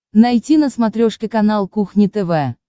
найти на смотрешке канал кухня тв